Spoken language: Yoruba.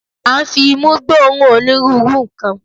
A ń fi imú gbóòórùn onírúurú nǹkan.